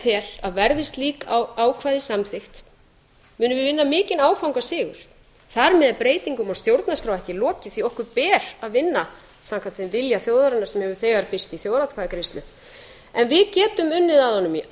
tel að verði slík ákvæði samþykkt munum við vinna mikinn áfangasigur þar með er breytingum á stjórnarskrá ekki lokið því okkur ber að vinna samkvæmt þeim vilja þjóðarinnar sem hefur þegar birst í þjóðaratkvæðagreiðslu en við getum unnið að honum í